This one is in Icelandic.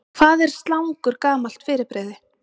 Hvað er slangur gamalt fyrirbrigði?